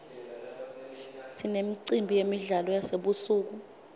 sinemicimbi yemidlalo yasebusuku